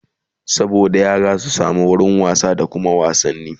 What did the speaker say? saboda yara su samu wurin wasa da Kuma wasanni